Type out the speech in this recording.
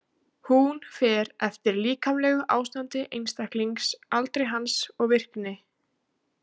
Hún fer eftir líkamlegu ástandi einstaklings, aldri hans og virkni.